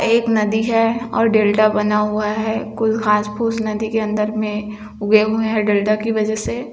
एक नदी है और डेल्डा बना हुआ है कुछ घास-फुस्स नदी के अंदर में उगे हुए है डेल्डा की से--